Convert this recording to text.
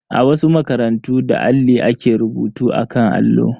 A wasu makarantu, da alli ake rubutu akan allo.